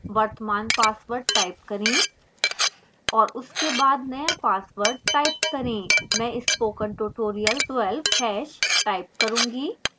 वर्तमान password type करें और उसके बाद नया password type करें मैं spokentutorial12 #type करूंगी